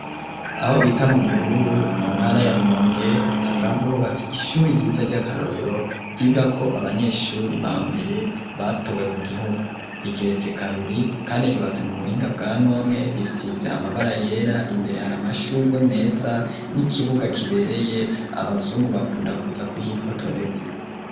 Aho bita mu gihururu mu ntara ya rumonge hasanzweho batsi ishuri ryiza ry'akarorero ryiga ko abanyeshuri ba mbere batowe mu gihugu rigeretse kabiri kandi agihatse mu buhinga bwa none risize amabara yera imbere hari amashurwe meza n'ikibuga kibereye abazungu bakunda kuza kuhifotoreza.